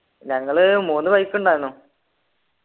ഞങ്ങൾ മൂന്ന് bike ണ്ടാന്നു